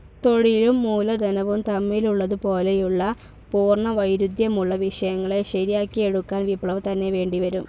തൊഴിലും മൂലധനവും തമ്മിലുള്ളതു പോലെയുള്ള പൂർണ വൈരുദ്ധ്യമുള്ള വിഷയങ്ങളെ ശരിയാക്കിയെടുക്കാൻ വിപ്ലവം തന്നെ വേണ്ടിവരും.